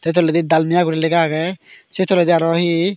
se toledi dalmia guri lega agey se toledi araw hi.